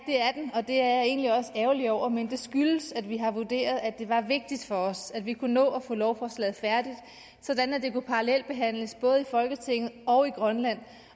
og det er jeg egentlig også ærgerlig over men det skyldes at vi har vurderet at det var vigtigt for os at vi kunne nå at få lovforslaget færdigt sådan at det kunne parallelbehandles både i folketinget og i grønland